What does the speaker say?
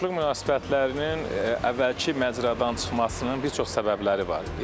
Qonşuluq münasibətlərinin əvvəlki məcradan çıxmasının bir çox səbəbləri var.